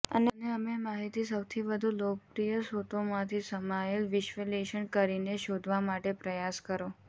અને અમે માહિતી સૌથી વધુ લોકપ્રિય સ્રોતોમાંથી સમાયેલ વિશ્લેષણ કરીને શોધવા માટે પ્રયાસ કરો